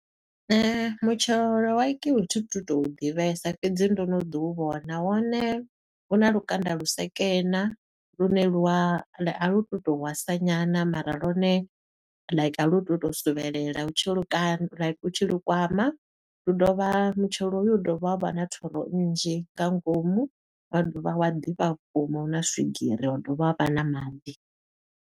Mutshelo wa kiwi thu tu tou ḓivhesa fhedzi ndo no ḓi u vhona. Wone u na lukanda lu sekena, lune lwa a lu tu to wasa nyana mara lone like a lu tu to suvhelela u tshi lu ka like u tshi lu kwama. Lu dovha, mutshelo hoyu u dovha wa vha na thoro nnzhi nga ngomu, wa dovha wa ḓifha vhukuma, u na swigiri wa dovha wa vha na maḓi.